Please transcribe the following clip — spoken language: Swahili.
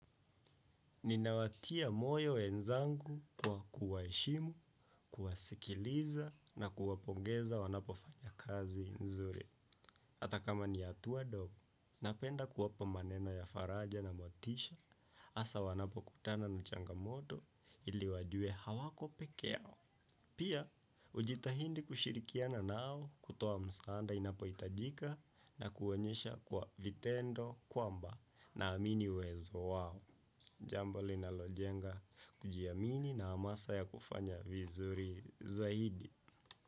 Ninawatia moyo wenzangu kwa kuwaheshimu, kuwasikiliza na kuwapongeza wanapofanya kazi nzuri. Hata kama ni hatua ndogo, napenda kuwapa maneno ya faraja na motisha, hasa wanapo kutana na changamoto ili wajue hawako peke yao. Pia, hujitahidi kushirikiana nao kutoa msaada inapo hitajika na kuonyesha kwa vitendo kwamba naamini uwezo wao. Jambo linalojenga kujiamini na hamasa ya kufanya vizuri zaidi.